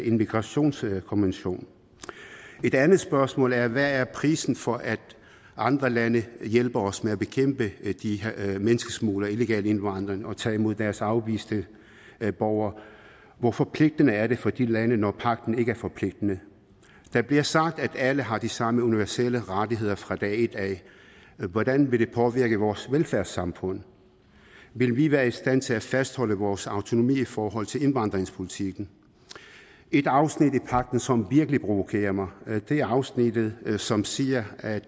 en migrationskonvention et andet spørgsmål er hvad er prisen for at andre lande hjælper os med at bekæmpe de her menneskesmuglere og illegal indvandring og tage imod deres afviste borgere hvor forpligtende er det for de lande når pagten ikke er forpligtende der bliver sagt at alle har de samme universelle rettigheder fra dag et hvordan vil det påvirke vores velfærdssamfund vil vi være i stand til at fastholde vores autonomi i forhold til indvandringspolitikken et afsnit i pagten som virkelig provokerer mig er afsnittet som siger at